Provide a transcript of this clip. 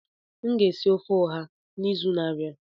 M ga-esi ofe ọha ahụ n'izu na-abịa.